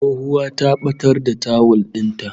Tsohuwa ta batar da tawul din ta